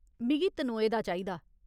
मिगी तनोए दा चाहिदा।